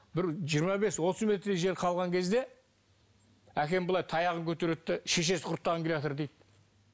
бір жиырма бес отыз метрдей жер қалған кезде әкем былай таяғын көтереді де шешесі құрттаған келатыр дейді